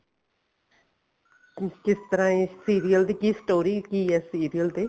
ਜਿਸ ਤਰ੍ਹਾਂ ਇਹ serial ਦੀ ਕੀ story ਕੀ ਐ serial ਤੇ